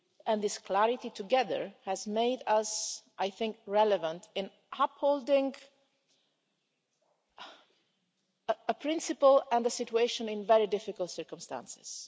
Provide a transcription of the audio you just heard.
and this clarity together have made us relevant in upholding a principle and a situation in very difficult circumstances.